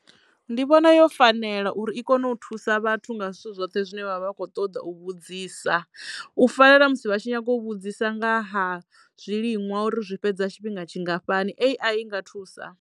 Ndi vhona yo fanela uri i kono u thusa vhathu nga zwithu zwoṱhe zwine vha vha kho ṱoda u vhudzisa u fana na musi vha tshi nyago u vhudzisa nga ha zwiliṅwa uri zwi fhedza tshifhinga tshingafhani A_I i nga thusa.